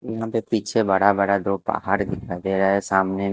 यहां पे पीछे बड़ा बड़ा दो पहाड़ दिखा दे रहा है सामने--